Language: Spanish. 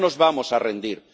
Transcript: no nos vamos a rendir